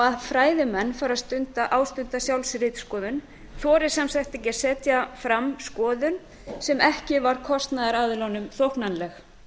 að fræðimenn fari að ástunda sjálfsritskoðun þori sem sagt ekki að setja fram skoðun sem ekki var kostunaraðilum þóknanleg